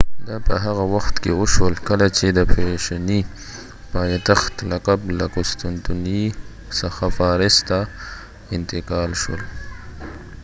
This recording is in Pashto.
دا په هغه وخت کې وشول کله چې د فیشني پایتخت لقب له قسطنطنیې څخه پاریس ته انتقال شول